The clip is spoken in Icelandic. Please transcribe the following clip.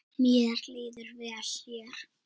Mér líður vel hér.